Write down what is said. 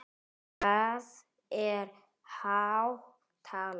Það er há tala?